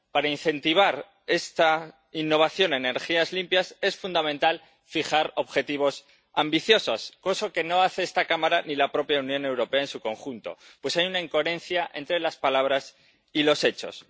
Para incentivar esta innovación en energías limpias es fundamental fijar objetivos ambiciosos —cosa que no hace esta Cámara ni la propia Unión Europea en su conjunto, pues hay una incoherencia entre las palabras y los hechos—.